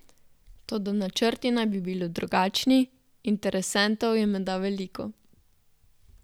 Toda načrti naj bi bili drugačni, interesentov je menda veliko.